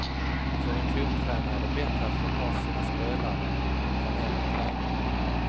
För en klubbtränare är det bättre att få ha sina spelare i planerad träning.